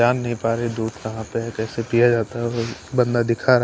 जान नहीं पा रहे दूध कहां पर है कैसे पिया जाता है बंदा दिखा रहा--